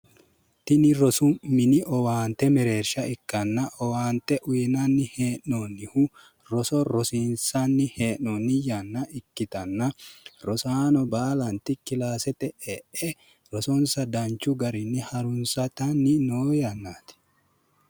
tini rosu mini owaante ikkanna owaante uyiinanni hee'noonnihu roso rosiinsanni hee'noonni yanna ikkitanna rosano baalanti kilaasete e'e rosonsa harunsitanni noo yannaati